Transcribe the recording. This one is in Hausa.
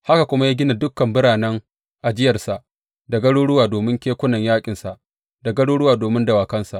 Haka kuma ya gina dukan biranen ajiyarsa, da garuruwa domin kekunan yaƙinsa, da garuruwa domin dawakansa.